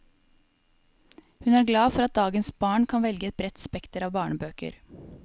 Hun er glad for at dagens barn kan velge i et bredt spekter av barnebøker.